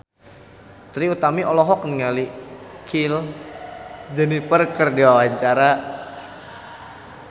Trie Utami olohok ningali Kylie Jenner keur diwawancara